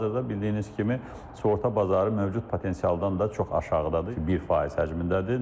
Hal-hazırda bildiyiniz kimi, sığorta bazarı mövcud potensialdan da çox aşağıdadır, 1 faiz həcmindədir.